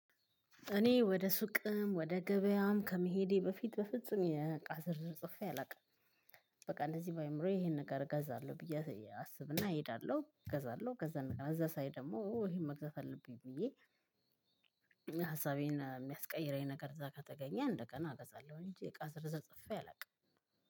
እኔ ወደ ሱቅም ወደ ገበያም ከመሄዴ በፊት በፍጹም የእቃ ዝርዝር ጽፌ አላውቅም። በቃ እንደዚህ በአእምሮዬ ይሄን ነገር እገዛለሁ ብዬ አስብና እሄዳለሁ እገዛለሁ ከዛ እዛ ሳይ ደግሞ ይሄን መግዛት አለብኝ ብዬ ሀሳቤን የሚያስቀይረኝ ነገር እዛ ጋር ከተገኘ እንደገና እገዛለሁ እንጂ እቃ ዝርዝር ጽፌ አላውቅም።